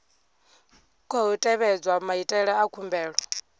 khou tevhedzwa maitele a khumbelo